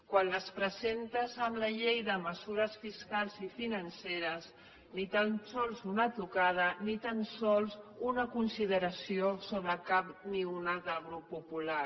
quan les presentes a la llei de mesures fiscals i financeres ni tan sols una de tocada ni tan sols una consideració sobre cap ni una del grup popular